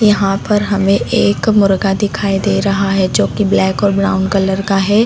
यहाँ पर हमें एक मुर्गा दिखाई दे रहा है जो की ब्लैक और ब्राउन कलर का है।